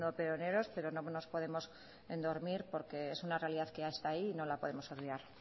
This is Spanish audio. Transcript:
pioneros pero no nos podemos dormir porque es una realidad que esta ahí y no la podemos obviar